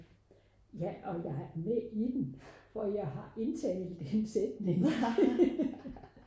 ja og jeg er med i den for jeg har indtalt en sætning